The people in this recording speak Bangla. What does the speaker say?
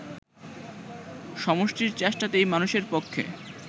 সমষ্টির চেষ্টাতেই মানুষের পক্ষে